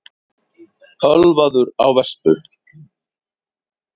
Ölvaður á vespu